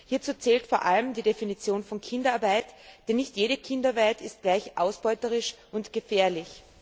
Hierzu zählt vor allem die Definition von Kinderarbeit, denn nicht jede Kinderarbeit ist gleich ausbeuterisch und gefährlich.